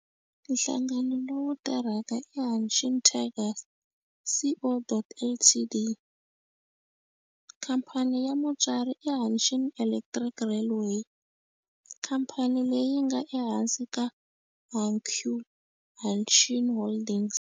Nhlangano lowu tirhaka i Hanshin Tigers Co., Ltd. Khamphani ya mutswari i Hanshin Electric Railway, khamphani leyi nga ehansi ka Hankyu Hanshin Holdings.